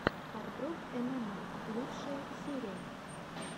хардкор эмэмэй лучшая серия